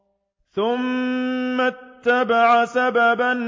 ثُمَّ أَتْبَعَ سَبَبًا